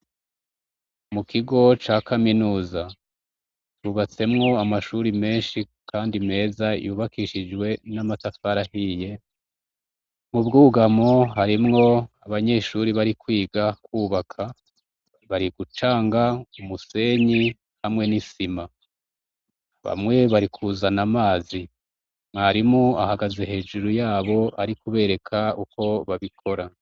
Mu kigo ca kaminuza, yubatsemwo amashuri menshi kandi meza yubakishijwe n'amatafari ahiye, mu bwugamo harimwo abanyeshuri bari kwiga kwubaka bari gucanga umusenyi hamwe n'isima, bamwe bari kuzana amazi mwarimu ahagaze hejuru yabo ari kubereka uko babikora.